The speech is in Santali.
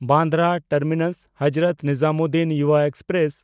ᱵᱟᱱᱫᱨᱟ ᱴᱟᱨᱢᱤᱱᱟᱥ–ᱦᱚᱡᱽᱨᱚᱛ ᱱᱤᱡᱟᱢᱩᱫᱽᱫᱤᱱ ᱭᱩᱵᱟ ᱮᱠᱥᱯᱨᱮᱥ